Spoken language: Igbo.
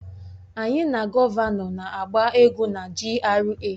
Anyị na gọvanọ na-agba egwú na GRA